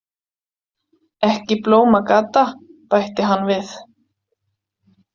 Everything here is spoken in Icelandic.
Ekki Blómagata, bætti hann við.